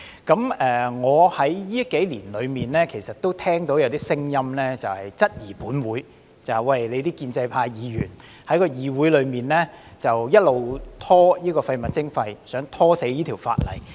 近年，我其實也聽到一些聲音，質疑本會的建制派議員在議會一直拖延處理廢物徵費，想"拖死"這項法例。